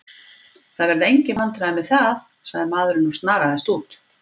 Það verða engin vandræði með það, sagði maðurinn og snaraðist út.